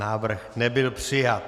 Návrh nebyl přijat.